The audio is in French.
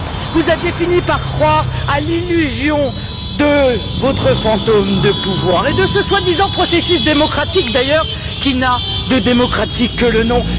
Vous aviez fini par croire à l'illusion de votre pouvoir fantôme et de ce soi disant processus démocratique, d'ailleurs qui n'a de démocratique que le nom.